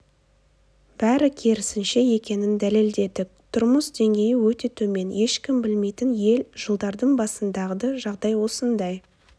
бәрі керісінше екенін дәлелдедік тұрмыс деңгейі өте төмен ешкім білмейтін ел жылдардың басындағы жағдай осындай